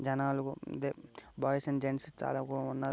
జనాలు ఇదే boys and gents చాలా బాగున్నారు.